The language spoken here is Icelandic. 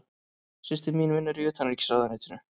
Systir mín vinnur í Utanríkisráðuneytinu.